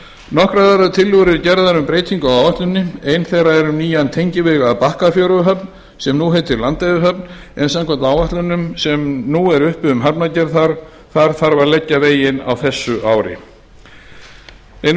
nokkrar aðrar tillögur eru gerðar um breytingu á áætluninni ein þeirra er um nýjan tengiveg að bakkafjöruhöfn sem nú heitir landeyjahöfn en samkvæmt áætlunum sem nú eru uppi um hafnargerð þar þarf að leggja veginn á þessu ári ein